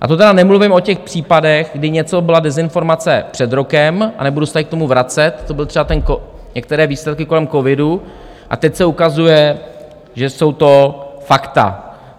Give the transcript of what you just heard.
A to tedy nemluvím o těch případech, kdy něco byla dezinformace před rokem, a nebudu se tady k tomu vracet, to byly třeba některé výsledky kolem covidu, a teď se ukazuje, že jsou to fakta.